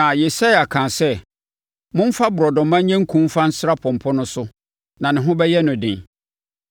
Na Yesaia kaa sɛ, “Momfa borɔdɔma nyɛ nku mfa nsra pɔmpɔ no so, na ne ho bɛyɛ no den.”